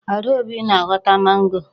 Adaobi na-ahọta mango.